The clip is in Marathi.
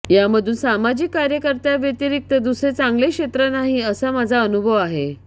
यामधून सामाजिक कार्याव्यतिरिक्त दुसरे चांगले क्षेत्र नाही असा माझा अनुभव आहे